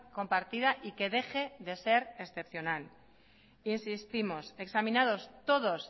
compartida y que deje de ser excepcional insistimos examinados todos